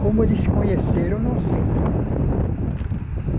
Como eles se conheceram, não sei.